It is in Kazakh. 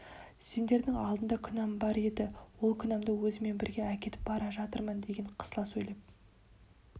сендердің алдарыңда күнәм бар еді ол күнәмды өзіммен бірге әкетіп бара жатырмын деген қысыла сөйлеп